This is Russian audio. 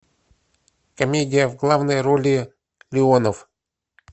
комедия в главной роли леонов